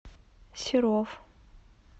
серов